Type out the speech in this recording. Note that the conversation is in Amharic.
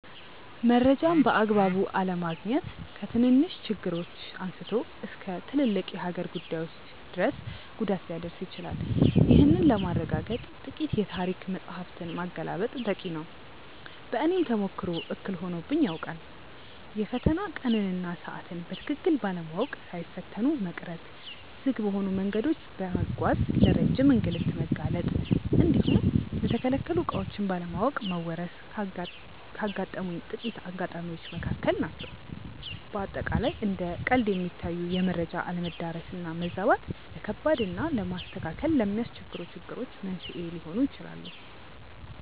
መረጃን በአግባቡ አለማግኘት ከትንንሽ ችግሮች አንስቶ እስከ ትልልቅ የሀገር ጉዳዮች ድረስ ጉዳት ሊያደርስ ይችላል። ይህንን ለማረጋገጥ ጥቂት የታሪክ መጻሕፍትን ማገላበጥ በቂ ነው። በእኔም ተሞክሮ እክል ሆኖብኝ ያውቃል። የፈተና ቀንን እና ሰዓትን በትክክል ባለማወቅ ሳይፈተኑ መቅረት፣ ዝግ በሆኑ መንገዶች በመጓዝ ለረጅም እንግልት መጋለጥ እንዲሁም የተከለከሉ ዕቃዎችን ባለማወቅ መወረስ ካጋጠሙኝ ጥቂት አጋጣሚዎች መካከል ናቸው። በአጠቃላይ እንደ ቀልድ የሚታዩ የመረጃ አለመዳረስ እና መዛባት፣ ለከባድ እና ለማስተካከል ለሚያስቸግሩ ችግሮች መንስኤ ሊሆኑ ይችላሉ።